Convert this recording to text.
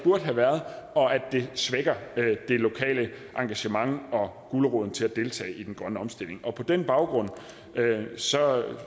have været og at det svækker det lokale engagement og guleroden til at deltage i den grønne omstilling på den baggrund